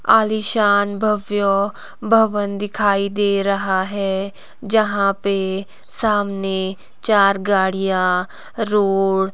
आलीशान भव्य भवन दिखाई दे रहा है जहां पे सामने चार गाड़ियां रोड --